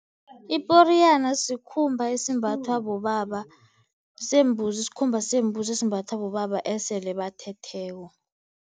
Iporiyana sikhumba esimbathwa bobaba sembuzi, sikhumba sembuzi esimbathwa bobaba esele bathetheko.